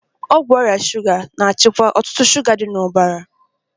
Ọgwụ ọrịa shuga na-achịkwa ọ̀tụ̀tụ̀ shuga dị n'ọbara.